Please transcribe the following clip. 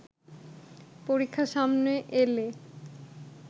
পরীক্ষা সামনে এলে